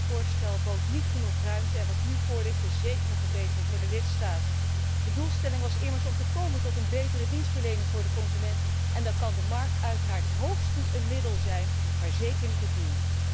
Het Commissievoorstel bood niet genoeg ruimte en wat nu voor ligt is zeker een verbetering voor de lidstaten. De doelstelling was immers om te komen tot een betere dienstverlening aan de consument en dan kan de markt uiteraard hoogstens een middel zijn, maar zeker niet het doel.